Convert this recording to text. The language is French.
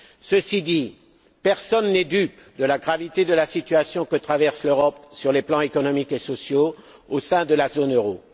Ceci dit, personne n'est dupe de la gravité de la situation que traverse l'Europe sur les plans économiques et sociaux au sein de la zone euro.